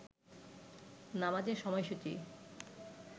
নামাজের সময়সূচি